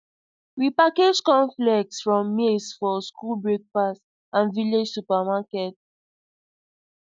we package cornflakes from maize for school breakfast and village supermarkets